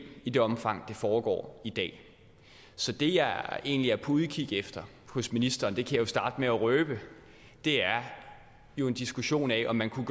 i det omfang det foregår i dag så det jeg egentlig er på udkig efter hos ministeren det kan jeg starte med at røbe er jo en diskussion af om det kunne